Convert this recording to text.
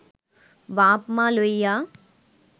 বাপ-মা লইয়া